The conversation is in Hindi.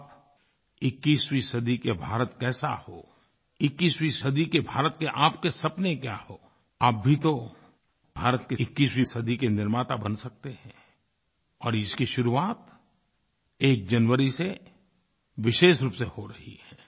आप 21वीं सदी का भारत कैसा हो 21वीं सदी के भारत के आपके सपने क्या हों आप भी तो भारत की 21वीं सदी के निर्माता बन सकते हैं और इसकी शुरुआत एक जनवरी से विशेष रूप से हो रही है